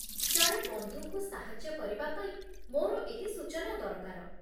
ଜଣେ ବନ୍ଧୁଙ୍କୁ ସାହାଯ୍ୟ କରିବା ପାଇଁ ମୋର ଏହି ସୂଚନା ଦରକାର।